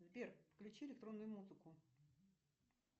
сбер включи электронную музыку